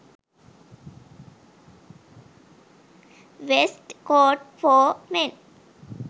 vest coat for men